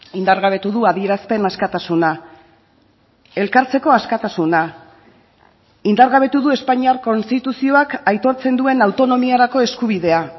indargabetu du adierazpen askatasuna elkartzeko askatasuna indargabetu du espainiar konstituzioak aitortzen duen autonomiarako eskubidea